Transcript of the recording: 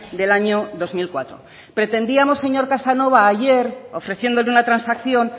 del año dos mil cuatro pretendíamos señor casanova ayer ofreciéndole una transacción